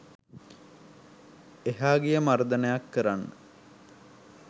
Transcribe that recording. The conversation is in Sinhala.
එහා ගිය මර්දනයක් කරන්න